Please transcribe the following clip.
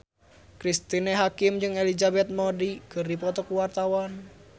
Cristine Hakim jeung Elizabeth Moody keur dipoto ku wartawan